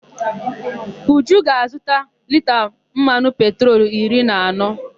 Uju ga-azụta lita mmanụ petrolu iri na anọ.